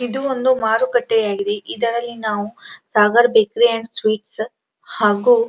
ಇದು ಒಂದು ಮಾರುಕಟ್ಟೆ ಆಗಿದೆ ಇದರಲ್ಲಿ ನಾವು ಸಾಗರ್ ಬೇಕರಿ ಅಂಡ್ ಸ್ವೀಟ್ಸ್ ಹಾಗು --